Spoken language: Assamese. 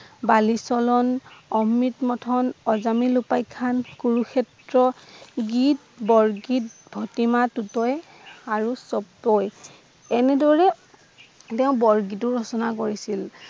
বালিচলন, অমৃতমন্থন, অজামিন উপাখ্যান, কুৰুক্ষেত্ৰ গীত, বৰগীত, ভটিমা টুটই আৰু চপপই এনেদৰে তেওঁ বৰগীত ও ৰচনা কৰিছিল